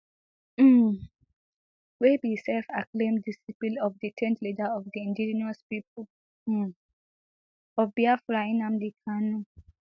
um wey be selfacclaimed disciple of detained leader of di indigenous people um of biafra nnamdi kanu